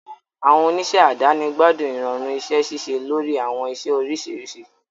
Àwọn oníṣẹ́ àdáni gbádùn ìrọ̀rùn iṣẹ́ ṣíṣe lórí àwọn iṣẹ́ oríṣiríṣi.